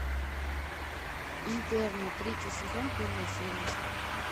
интерны третий сезон первая серия